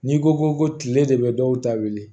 N'i ko ko tile de bɛ dɔw ta wili